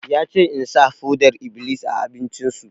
Ya ce in sa foɗar-iblis a abincin su!